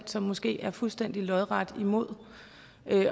som måske er fuldstændig lodret imod